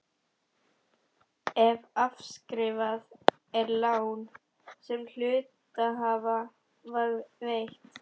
ef afskrifað er lán sem hluthafa var veitt.